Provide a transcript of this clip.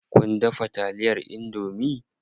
Kun dafa taliyar indomie?